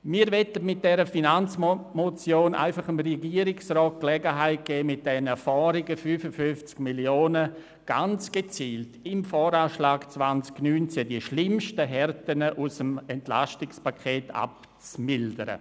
Wir möchten mit dieser Finanzmotion dem Regierungsrat die Gelegenheit geben, mit den überzähligen 55 Mio. Franken im Voranschlag 2019 ganz gezielt die schlimmsten Härten aus dem EP zu mildern.